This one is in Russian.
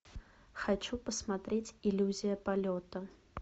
хочу посмотреть иллюзия полета